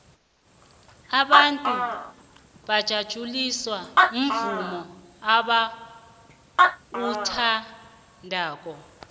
abantu bajatjuliswa muvumo abauthandako